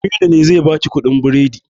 Aminu ne zai baki kuɗin biredin